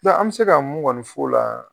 Dɔ an bɛ se ka mun ŋɔni f'o la